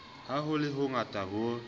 ha ho le hongata ho